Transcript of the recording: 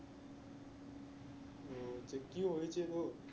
তা কি হয়েছে তোর?